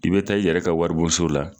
I bɛ taa i yɛrɛ ka waribonso la.